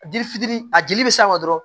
A dili fitiri a dili bɛ s'a ma dɔrɔn